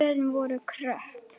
Kjörin voru kröpp.